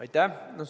Aitäh!